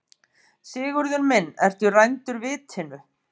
Sigurður minn, ertu rændur vitinu?